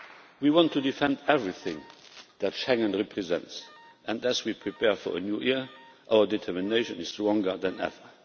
We want to defend everything that Schengen represents, and as we prepare for a new year, our determination is stronger than ever.